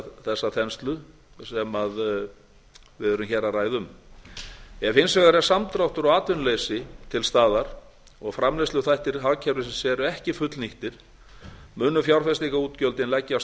sagði þessa þenslu sem við erum hér að ræða um ef hins vegar er samdráttur og atvinnuleysi til staðar og framleiðsluþættir hagkerfisins eru ekki fullnýttir munu fjárfestingarútgjöldin leggjast